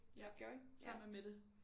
Ja sammen med Mette